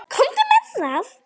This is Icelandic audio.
Komdu með það!